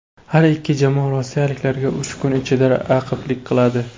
Har ikki jamoa rossiyaliklarga uch kun ichida raqiblik qiladi.